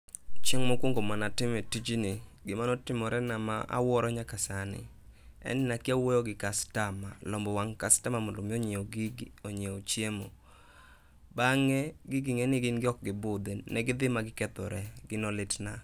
Chieng' mokuongo mane atime tijni, gima ne otimore na awuoro nyaka sani en ni nakia wuoyo gi customer, lombo wang' customer mondo mi onyiew gigi, onyiew chiemo. Bang'e gigi ing'eni gin ok gibudhi, negidhi ma gikethore, gino litna.